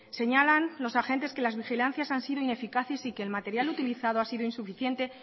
señalan los agentes que las vigilancias han sido ineficaces y que el material utilizado ha sido insuficiente